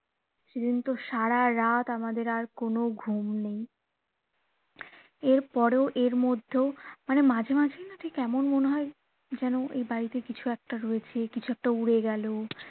সেদিন তো সারা রাত আমাদের আর কোনো ঘুম নেই এরপরেও এরমধ্যেও মানে মাঝে মাঝেই ঠিক এমন মনে হয় যেন এ বাড়িতে কিছু একটা রয়েছে যে কিছু একটা উড়ে গেলো